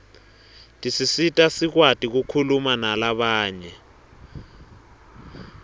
tisisita sikwati kukhuluma nalabanye